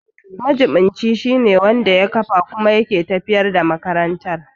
Majiɓinci shine wanda ya kafa kuma yake tafiyar da makarantar.